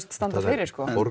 standa fyrir en